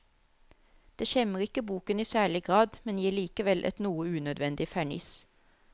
Det skjemmer ikke boken i særlig grad, men gir likevel et noe unødvendig ferniss.